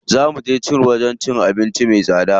Zaa muje wajen cin abinci me tsada.